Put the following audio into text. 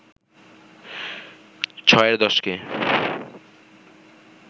ছয়ের দশকে